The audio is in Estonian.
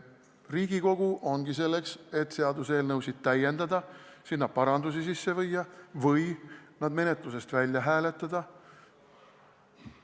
Riigikogu ongi selleks, et seaduseelnõusid täiendada, neisse parandusi sisse viia või need menetlusest välja hääletada.